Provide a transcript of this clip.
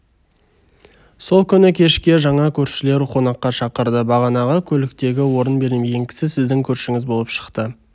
сол күні кешке жаңа көршілер қонаққа шақырды бағанағы көліктегі орын бермеген кісі сіздің көршіңіз болып шықты